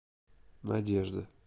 надежда